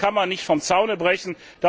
So etwas kann man nicht vom Zaun brechen.